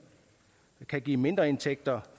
kan give mindreindtægter